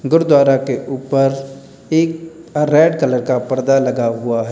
गुरुद्वारा के ऊपर एक रेड कलर का पर्दा लगा हुआ है।